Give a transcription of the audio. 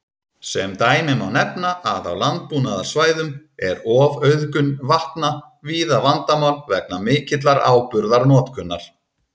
Sem dæmi má nefna að á landbúnaðarsvæðum er ofauðgun vatna víða vandamál vegna mikillar áburðarnotkunar.